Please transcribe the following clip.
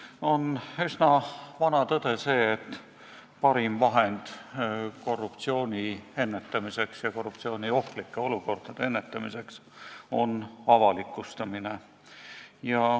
See on üsna vana tõde, et parim vahend korruptsiooni ja korruptsiooniohtlike olukordade ennetamiseks on avalikustamine.